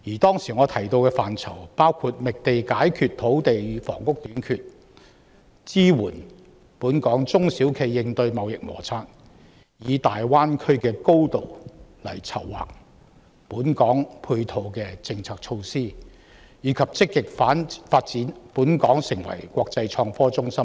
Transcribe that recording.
當時，我提到的範疇包括覓地解決土地與房屋短缺、支援本港中小企業應對中美貿易摩擦、籌劃香港配合大灣區發展的政策措施，以及積極發展香港成為國際創科中心等。